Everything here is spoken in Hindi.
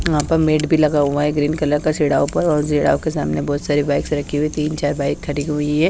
यहां पर मेट भी लगा हुआ है ग्रीन कलर का पर और के सामने बहुत सारे बाइक्स रखी हुई तीन चार बाइक खड़ी हुई है।